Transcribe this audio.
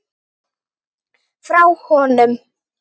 Frá honum!